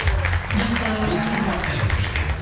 жоқ ы ол кісінікі басқа енді хэштегі